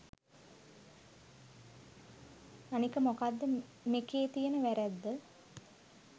අනික මොකද්ද මෙකේ තියෙන වැරැද්ද